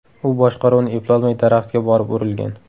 U boshqaruvni eplolmay daraxtga borib urilgan.